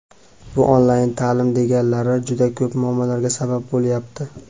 Bu onlayn taʼlim deganlari juda ko‘plab muammolarga sabab bo‘lyapti.